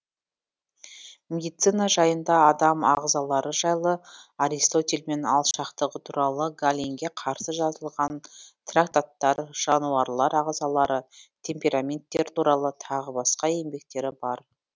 медицина жайында адам ағзалары жайлы аристотельмен алшақтығы туралы галенге қарсы жазылған трактаттар жануарлар ағзалары темпераменттер туралы тағы басқа еңбектері бар